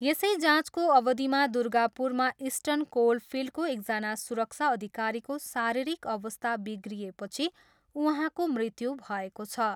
यसै जाँचको अवधिमा दुर्गापुरमा इर्स्टन कोलफिल्डको एकजना सुरक्षा अधिकारीको शारीरिक अवस्था बिग्रिएपछि उहाँको मृत्यु भएको छ।